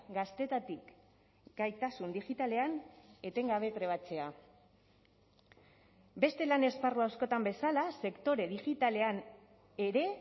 gaztetatik gaitasun digitalean etengabe trebatzea beste lan esparru askotan bezala sektore digitalean ere